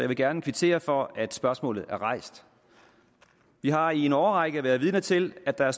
vil gerne kvittere for at spørgsmålet er rejst vi har i en årrække været vidner til at der